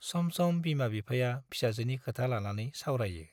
सम सम बिमा-बिफाया फिसाजोनि खोथा लानानै सावरायो।